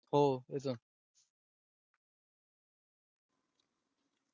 हो येतो ना.